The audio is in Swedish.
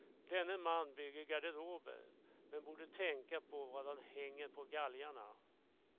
Denne man bygger garderober, men borde tänka på vad han hänger på galgarna.